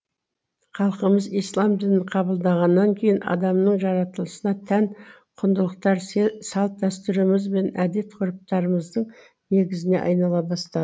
халқымыз ислам дінін қабылдағаннан кейін адамның жаратылысына тән құндылықтар салт дәстүріміз бен әдет ғұрыптарымыздың негізіне айнала бастады